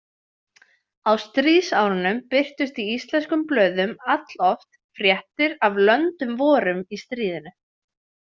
Á stríðsárunum birtust í íslenskum blöðum alloft fréttir af „löndum vorum“ í stríðinu.